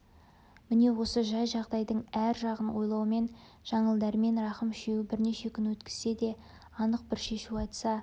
міне осы жай-жағдайдың әр жағын ойлаумен жаңыл дәрмен рахым үшеуі бірнеше күн өткізсе де анық бір шешу айтыса